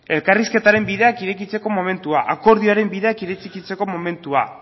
elkarrizketaren bideak irekitzeko momentua akordioaren bideak irekitzeko momentua